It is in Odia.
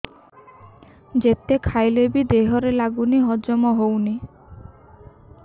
ଯେତେ ଖାଇଲେ ବି ଦେହରେ ଲାଗୁନି ହଜମ ହଉନି